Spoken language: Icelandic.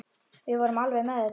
Við vorum alveg með þetta.